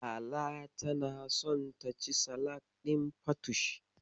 Lala tana son taci salak ɗin fatush.